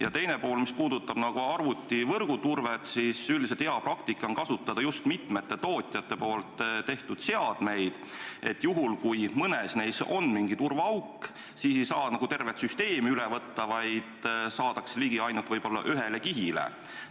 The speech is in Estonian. Ja teine pool, mis puudutab arvutivõrgu turvet – üldiselt on hea praktika kasutada just mitme tootja tehtud seadmeid, et juhul, kui mõnes neist on turvaauk, ei saa tervet süsteemi üle võtta, vaid saadakse ligi võib-olla ainult ühele kihile.